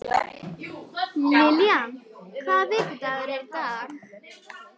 Lillian, hvaða vikudagur er í dag?